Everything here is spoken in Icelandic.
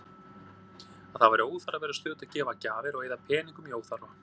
Að það væri óþarfi að vera stöðugt að gefa gjafir og eyða peningum í óþarfa.